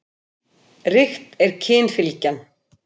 Ríkt er kynfylgjan.